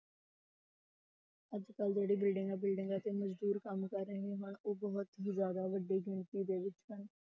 ਅੱਜ ਕੱਲ੍ਹ ਜਿਹੜੇ ਬਿਲਡਿੰਗਾਂ ਬਿਲਡਿੰਗਾਂ ਤੇ ਮਜ਼ਦੂਰ ਕੰਮ ਕਰ ਰਹੇ ਹਨ, ਉਹ ਬਹੁਤ ਹੀ ਜ਼ਿਆਦਾ ਵੱਡੀ ਗਿਣਤੀ ਦੇ ਵਿੱਚ ਹਨ।